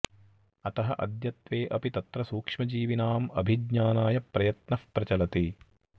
अतः अद्यत्वे अपि तत्र सूक्ष्मजीविनाम् अभिज्ञानाय प्रयत्नः प्रचलति